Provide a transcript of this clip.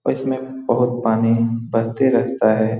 और इसमें बहुत पानी बहते रहता है।